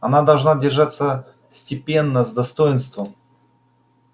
она должна держаться степенно с достоинством